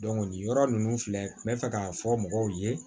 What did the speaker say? nin yɔrɔ ninnu filɛ n bɛ fɛ k'a fɔ mɔgɔw ye